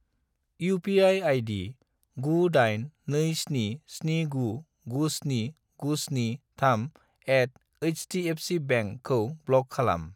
UPI. ID. 98277997973@hdfcbank खौ block खालाम।